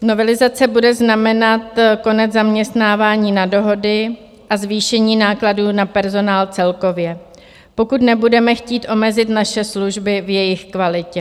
Novelizace bude znamenat konec zaměstnávání na dohody a zvýšení nákladů na personál celkově, pokud nebudeme chtít omezit naše služby v jejich kvalitě.